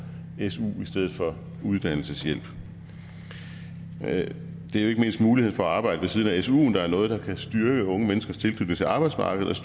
su i stedet for uddannelseshjælp det er ikke mindst muligheden for at arbejde ved siden af suen der er noget der kan styrke unge menneskers tilknytning til arbejdsmarkedet